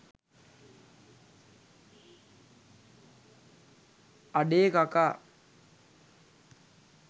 අඩේ කකා